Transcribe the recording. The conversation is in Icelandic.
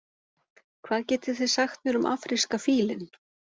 Hvað getið þið sagt mér um afríska fílinn?